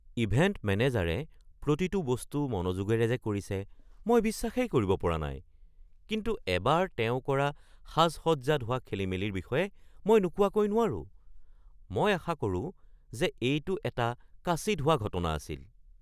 Event মেনেজাৰে প্ৰতিটো বস্তু মনোযোগেৰে যে কৰিছে মই বিশ্বাসেই কৰিব পৰা নাই, কিন্তু এবাৰ তেওঁ কৰা সাজ-সজ্জাত হোৱা খেলিমেলিৰ বিষয়ে মই নোকোৱাকৈ নোৱাৰোঁ। মই আশা কৰোঁ যে এইটো এটা কাচিৎ হোৱা ঘটনা আছিল।